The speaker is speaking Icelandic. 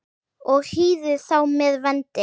og hýðir þá með vendi.